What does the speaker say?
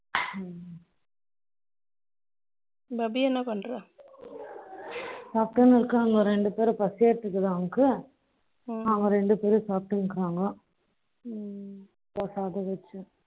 அபி என்ன பண்ற சாப்பிட்டன இருக்காங்கோ ரெண்டு பேரும் foreign language ஆ அவா ரெண்டு பேரும் சாப்பிட்டு இருக்காங்கோ